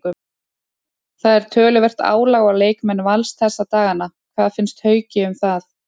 Það er töluvert álag á leikmenn Vals þessa dagana, hvað finnst Hauki um það?